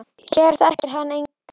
Hér þekkir hann engan.